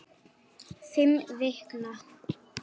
Fimm vikna